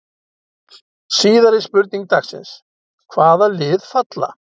Síðari spurning dagsins: Hvaða lið falla?